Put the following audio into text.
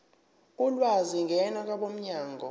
ulwazi ngena kwabomnyango